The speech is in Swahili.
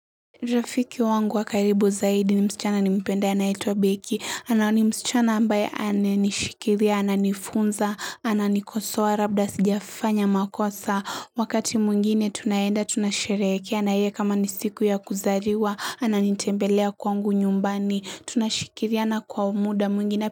Rafiki wangu wa karibu zaidi ni msichana nimpendaye anayeitwa Beki, na ni msichana ambaye ananishikilia, ananifunza, ananikosoa, labda sijafanya makosa, wakati mwingine tunaenda tunasherehekea, na yeye kama ni siku ya kuzaliwa, ananitembelea kwangu nyumbani, tunashikiliana kwa umuda mwingine.